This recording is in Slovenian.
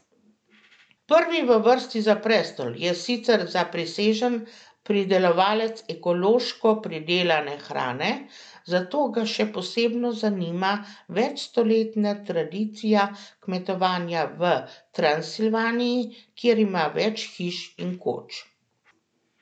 Prvi v vrsti za prestol je sicer zaprisežen pridelovalec ekološko pridelane hrane, zato ga še posebno zanima večstoletna tradicija kmetovanja v Transilvaniji, kjer ima več hiš in koč.